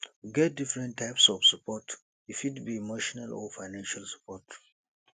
we get different types of support e fit be emotional or financial support